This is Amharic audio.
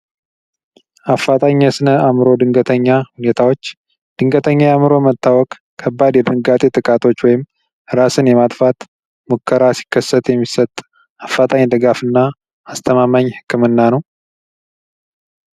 አፋታኝ የስነ አምሮ ድንገተኛ ሁኔታዎች ድንገተኛ የአምሮ መታወክ ከባድ የድንጋቴ ጥቃቶች ወይም እራስን የማጥፋት ሙከራ ሲከሰት የሚሰጥ አፋጣኝ ደጋፍና አስተማመኝ ህክምና ነው።